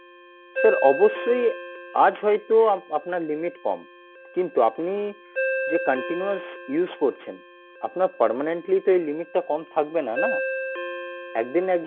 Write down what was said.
sir অবশ্যই আজ হয়তো আপনার limit কম কিন্তু আপনি যে continues use করছেন আপনার permanently তো এই limit টা কম থাকবে না, না একদিন না একদিন